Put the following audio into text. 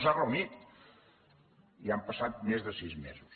no s’ha reunit i han passat més de sis mesos